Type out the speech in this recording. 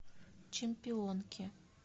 чемпионки